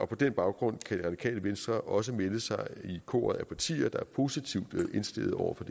på den baggrund kan det radikale venstre også melde sig i koret af partier der er positivt indstillet over for